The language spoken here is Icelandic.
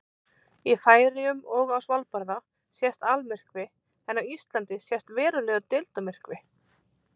Í Færeyjum og á Svalbarða sést almyrkvi en á Íslandi sést verulegur deildarmyrkvi.